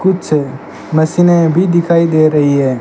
कुछ मशीनें भी दिखाई दे रही हैं।